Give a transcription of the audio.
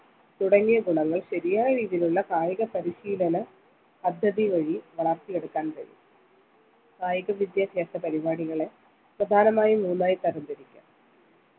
തുടങ്ങിയ ഗുണങ്ങൾ ശരിയായ രീതിയിലുള്ള കായിക പരിശീലന പദ്ധതി വഴി വളർത്തി എടുക്കാൻ കഴിയും കായിക വിദ്യാഭ്യാസ പരിപാടികളെ പ്രധാനമായും മൂന്നായി തരം തിരിക്കാം